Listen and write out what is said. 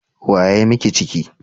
Wa ya yi miki ciki?